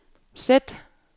sæt